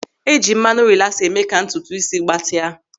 E ji mmanụ rilasa eme ka ntutu ísí gbatịa.